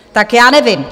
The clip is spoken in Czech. Tak já nevím.